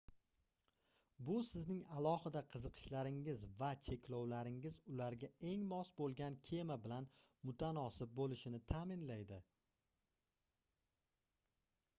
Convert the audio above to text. bu sizning alohida qiziqishlaringiz va/yoki cheklovlaringiz ularga eng mos bo'lgan kema bilan mutanosib bo'lishini ta'minlaydi